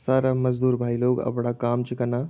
सारा मजदूर भाई लोग अपणा काम च कना।